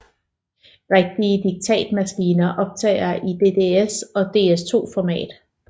Rigtige diktatmaskiner optager i DSS og DS2 format